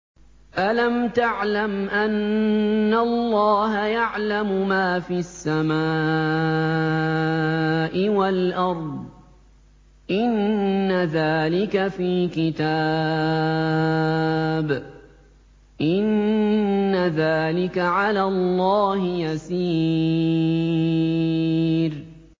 أَلَمْ تَعْلَمْ أَنَّ اللَّهَ يَعْلَمُ مَا فِي السَّمَاءِ وَالْأَرْضِ ۗ إِنَّ ذَٰلِكَ فِي كِتَابٍ ۚ إِنَّ ذَٰلِكَ عَلَى اللَّهِ يَسِيرٌ